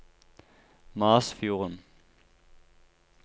Masfjorden